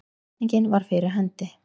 Hvatningin var fyrir hendi.